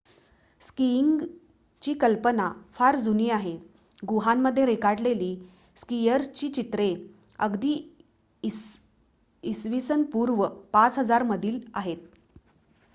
स्कीइंगची कल्पना फार जुनी आहे — गुहांमध्ये रेखाटलेली स्कीयर्सची चित्रे अगदी इसा पूर्व ५००० मधील आहेत!